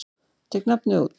Tek nafnið út.